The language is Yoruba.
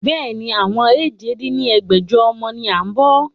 Bẹ́ẹ̀ni, àwọn èje dín ní ẹgbẹ́jọ ọmọ ni a ń bọ́.